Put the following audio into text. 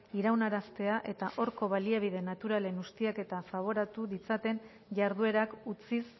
iraunaraztea eta horko baliabide naturalen ustiaketa faboratu ditzaten jarduerak utziz